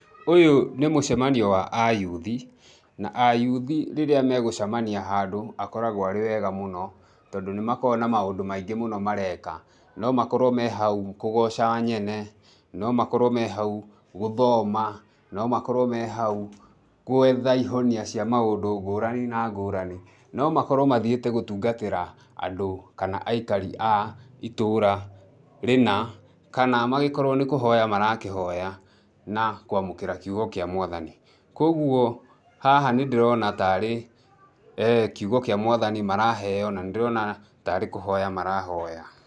Ũyũ nĩ mũcemanio wa ayuthi, na ayuthi rĩrĩa megũcemania handũ akoragũo arĩ wega mũno, tondũ nĩmakoragũo na maũndũ maingĩ mũno mareka. No makorwo me hau kũgooca nyene, no makorwo me hau gũthoma, no makorwo me hau gũetha ihonia cia maũndũ ngũrani na ngũrani. No makorwo mathiĩte gũtungatĩra andũ kana aikari a itũũra rĩna, kana magĩkorwo nĩ kũhoya marakĩhoya na kũamũkĩra kiugo kĩa Mwathani. Kuoguo haha nĩndĩrona tarĩ kiugo kĩa Mwathani maraheo, na nĩndĩrona tarĩ kũhoya marahoya.